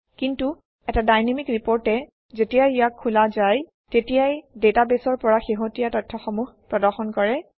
কিন্তু এটা ডাইনামিক ৰিপৰ্টে যেতিয়াই ইয়াক খোলা যায় তেতিয়াই ডাটাবেছৰ পৰা শেহতীয়া তথ্যসমূহ প্ৰদৰ্শন কৰে